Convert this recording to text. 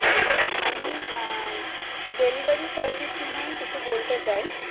আমি delivery service নিয়ে কিছু বলতে চাই